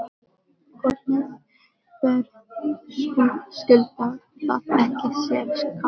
Hornið verðskuldar það ekki sér kafla?